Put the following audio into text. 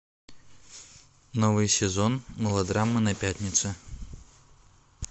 новый сезон мылодрамы на пятнице